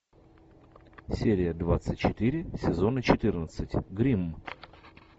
серия двадцать четыре сезона четырнадцать гримм